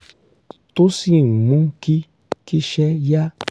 tó sì ń mú kí kíṣẹ́ yá